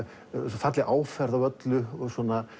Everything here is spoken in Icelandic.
falleg áferð á öllu og